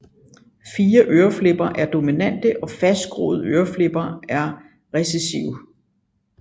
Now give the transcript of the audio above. Frie øreflipper er dominante og fastgroede øreflipper er recessive